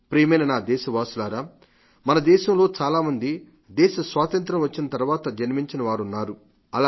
ప్రియమైన నా దేశవాసులారా మనలో చాలా మంది దేశ స్వాతంత్ర్యం వచ్చిన తర్వాత జన్మించినవారున్నారు